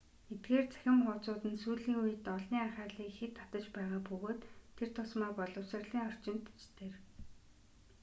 эдгээр цахим хуудсууд нь сүүлийн үед олны анхаарлыг ихэд татаж байгаа бөгөөд тур тусмаа боловсролын орчинд ч тэр